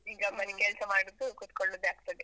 ಈಗ ಬರೀ ಕೆಲಸ ಮಾಡುದು, ಕೂತ್ಕೊಳ್ಳುದೇ ಆಗ್ತದೆ.